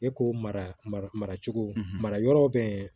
E ko mara maracogo mara yɔrɔw bɛ